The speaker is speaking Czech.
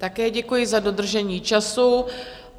Také děkuji, za dodržení času.